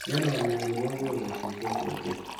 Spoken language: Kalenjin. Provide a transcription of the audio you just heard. mny'aanamny'aani kooko betushechu ochei